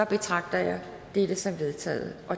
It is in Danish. betragter jeg dette som vedtaget